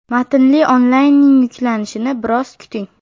Matnli onlaynning yuklanishini biroz kuting!